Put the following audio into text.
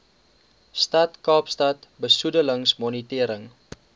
stad kaapstad besoedelingsmonitering